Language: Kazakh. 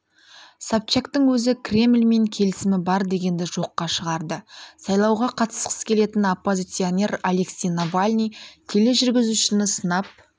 собчактың өзі кремльмен келісімі бар дегенді жоққа шығарды сайлауға қатысқысы келетін оппозиционер алексей навальный тележүргізушіні сынап